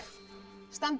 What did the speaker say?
standa